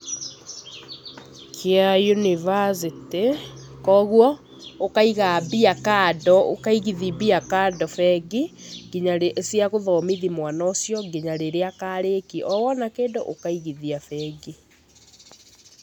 Kĩa yunibacĩtĩ, koguo ũkaiga mbia kando, ũkaigithi mbia kando bengi cia gũthomithi mwana ũcio nginya rĩrĩa akarĩkia, o wona kĩndũ ũkaigithia bengi.